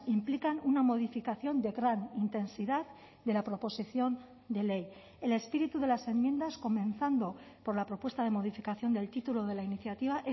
implican una modificación de gran intensidad de la proposición de ley el espíritu de las enmiendas comenzando por la propuesta de modificación del título de la iniciativa